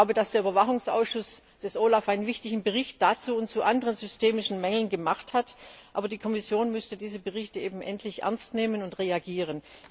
Der OLAF Überwachungsausschuss hat einen wichtigen Bericht dazu und zu anderen systemischen Mängeln gemacht, aber die Kommission müsste die Berichte eben endlich ernst nehmen und reagieren.